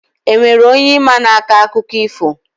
Enwere onye ị ma na-akọ akụkọ ifo?